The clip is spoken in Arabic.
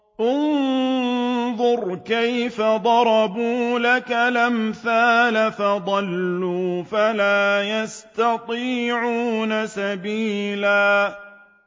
انظُرْ كَيْفَ ضَرَبُوا لَكَ الْأَمْثَالَ فَضَلُّوا فَلَا يَسْتَطِيعُونَ سَبِيلًا